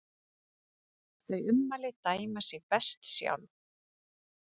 Þau ummæli dæma sig best sjálf.